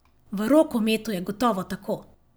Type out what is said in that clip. V rokometu je gotovo tako.